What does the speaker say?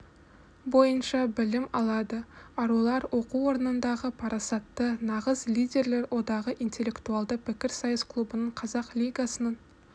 бойынша білім алады арулар оқу орнындағы парасатты нағыз лидерлер одағы интеллектуалды пікірсайыс клубының қазақ лигасының